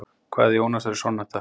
Kvæði Jónasar er sonnetta.